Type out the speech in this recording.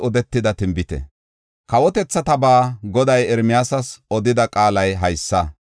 Kawotethatabaa Goday Ermiyaasas odida qaalay haysa.